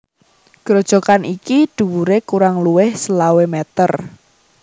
Grojogan iki dhuwuré kurang luwih selawe meter